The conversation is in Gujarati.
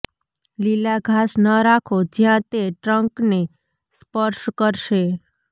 લીલા ઘાસ ન રાખો જ્યાં તે ટ્રંકને સ્પર્શ કરશે